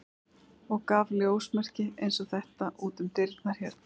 og gaf ljósmerki eins og þetta út um dyrnar hérna.